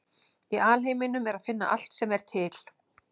Í alheiminum er að finna allt sem er til.